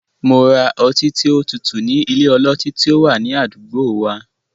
Mo ra ọtí tí ó tutù ní ilé ọlọtí tí ó wà ní àdúgbò wa.